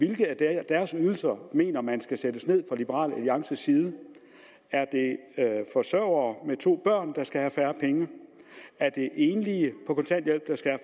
hvilke af deres ydelser mener man skal sættes ned fra liberal alliances side er det forsørgere med to børn der skal have færre penge er det enlige på kontanthjælp der skal